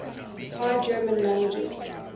high german languages